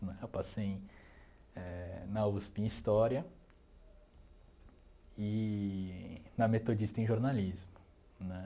Eu passei eh na USP em História eee na Metodista em Jornalismo né.